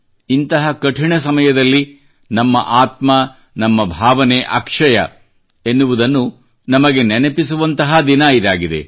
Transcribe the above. ಇಂತಹ ಕಠಿಣ ಸಮಯದಲ್ಲಿ ನಮ್ಮ ಆತ್ಮ ನಮ್ಮ ಭಾವನೆ ಅಕ್ಷಯ ಎನ್ನುವುದನ್ನು ನಮಗೆ ನೆನಪಿಸುವಂತಹ ದಿನ ಇದಾಗಿದೆ